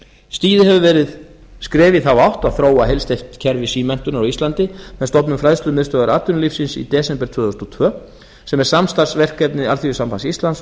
stigið hefur verið skref í þá átt að þróa heildstætt kerfi símenntunar á íslandi með stofnun fræðslumiðstöðvar atvinnulífsins í desember tvö þúsund og tvö sem er samstarfsverkefni alþýðusambands íslands og